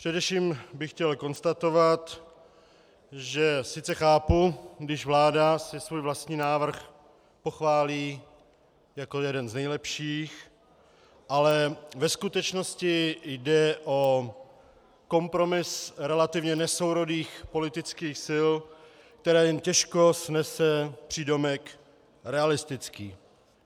Především bych chtěl konstatovat, že sice chápu, když si vláda svůj vlastní návrh pochválí jako jeden z nejlepších, ale ve skutečnosti jde o kompromis relativně nesourodých politických sil, který jen těžko snese přídomek realistický.